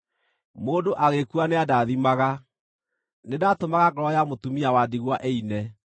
Mũndũ agĩkua nĩandaathimaga; nĩndatũmaga ngoro ya mũtumia wa ndigwa ĩine.